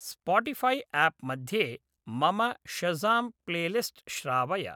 Spotify app मध्ये मम Shazam playlist श्रावय